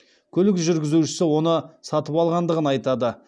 көлік жүргізушісі оны сатып алғандығын айтады